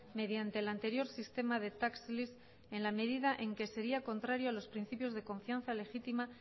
mediante el anterior sistema de tax lease en la medida en que sería contrario a los principios de confianza legítima